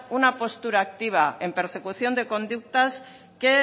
una postura activa en persecución de conductas que